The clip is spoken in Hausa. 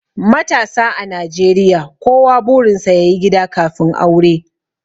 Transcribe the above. matasa a najeriya kowa burinsa ya yi gida kafin aure